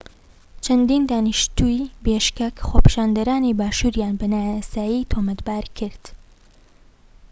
چەندین دانیشتوویی بیشکەک خۆپیشاندەڕانی باشووریان بە نایاسایی تاوانبار کرد